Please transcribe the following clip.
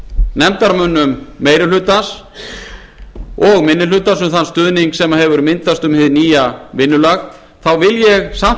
nefndarmönnum meiri hlutans og minni hlutans þann stuðning sem hefur myndast um hið nýja vinnulag vil ég samt